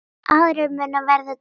Aðrir munu verða til þess.